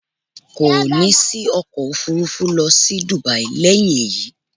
Ko ni sí ọkọ̀ Òfurufú lọ sí Dubai lẹ́yìn eyi